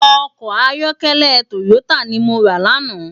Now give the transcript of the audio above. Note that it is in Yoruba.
Òkò àyòkèlè tóyótá ni mó rá làná